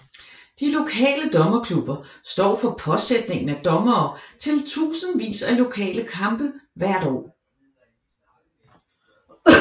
De lokale dommerklubber står for påsætningen af dommere til titusindvis af lokale kampe hvert år